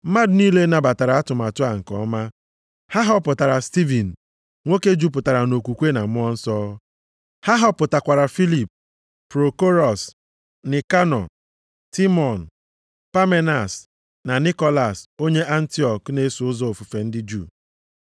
Mmadụ niile nabatara atụmatụ a nke ọma. Ha họpụtara Stivin, nwoke jupụtara nʼokwukwe na Mmụọ Nsọ. Ha họpụtakwara Filip, Prokorọs, Nikanọ, Timọn, Pamenas na Nikolas, onye Antiọk na-eso ụzọ ofufe ndị Juu.